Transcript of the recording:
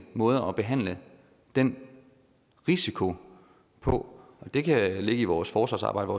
måder at behandle den risiko på det kan ligge i vores forsvarsarbejde